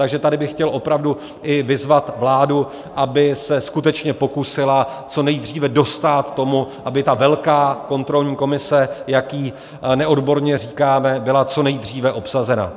Takže tady bych chtěl opravdu i vyzvat vládu, aby se skutečně pokusila co nejdříve dostát tomu, aby ta velká kontrolní komise, jak jí neodborně říkáme, byla co nejdříve obsazena.